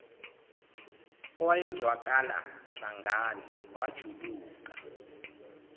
owayezwakala sangane wajuluka